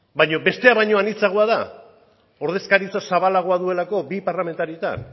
baina bestea baino anitzagoa da ordezkaritza zabalagoa duelako bi parlamentaritan